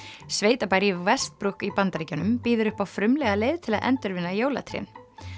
sveitabær í í Bandaríkjunum býður upp á frumlega leið til að endurvinna jólatrén